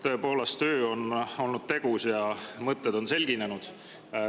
Tõepoolest, öö on olnud tegus ja mõtted on selginenud.